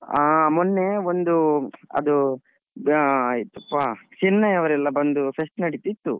ಅಹ್ ಮೊನ್ನೆ ಒಂದು ಅದು Chennai ಅವ್ರೆಲ್ಲ ಬಂದು fest ನಡೀತಿತ್ತು.